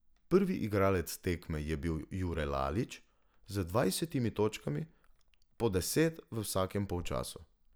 Prvi igralec tekme je bil Jure Lalić z dvajsetimi točkami, po deset v vsakem polčasu.